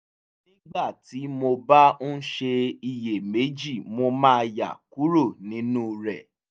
nígbà tí mo bá ń ṣe iyèméjì mo máa yà kúrò nínú rẹ̀